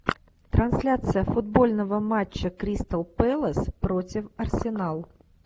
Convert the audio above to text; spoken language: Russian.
трансляция футбольного матча кристал пэлас против арсенал